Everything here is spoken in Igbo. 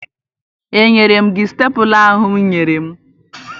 Enyere m gị stepụla ahụ ị nyere m?